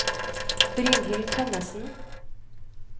Brynhild Tønnessen